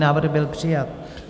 Návrh byl přijat.